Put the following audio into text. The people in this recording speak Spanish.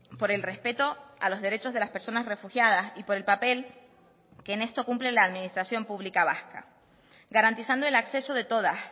por el respeto a los derechos de las personas refugiadas y por el papel que en esto cumple la administración pública vasca garantizando el acceso de todas